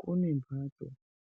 Kune mhatso